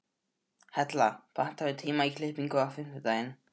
Hella, pantaðu tíma í klippingu á fimmtudaginn.